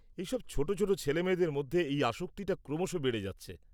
-এইসব ছোট ছোট ছেলেমেয়েদের মধ্যে এই আসক্তিটা ক্রমশ বেড়ে যাচ্ছে।